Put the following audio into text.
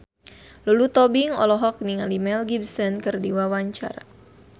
Lulu Tobing olohok ningali Mel Gibson keur diwawancara